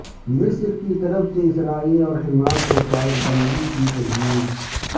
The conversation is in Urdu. مصر کیطرف سے اسرائیل اور حماس کو فائر بندی کی تجویز